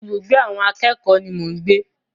Ibùgbé àwọn akẹ́kòó ni mò ń gbé.